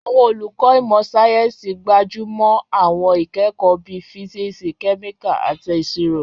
Àwọn olùkọ́ ìmọ̀ sáyẹ́sì gbájú mọ́ àwọn ìkẹ́kọ̀ọ́ bíi físíìsì, kẹ́míkà, àti ìṣirò.